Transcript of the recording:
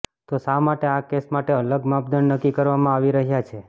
તો શા માટે આ કેસ માટે અલગ માપદંડ નક્કી કરવામાં આવી રહ્યા છે